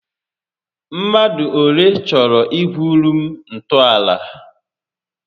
Mmadụ olé chọrọ igwuuru m ntọàlà?